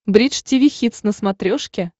бридж тиви хитс на смотрешке